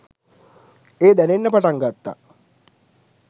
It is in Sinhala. එය දැනෙන්න පටන් ගත්තා.